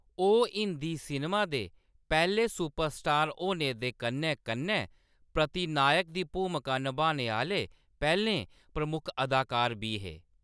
ओह्‌‌ हिंदी सिनेमा दे पैह्‌‌‌ले सुपरस्टार होने दे कन्नै-कन्नै प्रतिनायक दी भूमका नभाने आह्‌‌‌ले पैह्‌‌‌लें प्रमुख अदाकार बी हे।